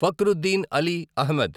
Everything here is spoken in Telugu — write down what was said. ఫక్రుద్దీన్ అలీ అహ్మద్